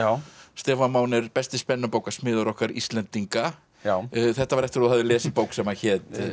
Stefán Máni er besti okkar Íslendinga þetta var eftir að þú hafðir lesið bók sem að hét